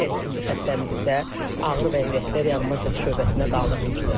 Digər ikinci xəstəmiz isə ağır vəziyyətdə reanimasiya şöbəsinə qaldırılmışdır.